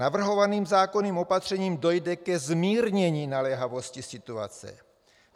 Navrhovaným zákonným opatřením dojde ke zmírnění naléhavosti situace.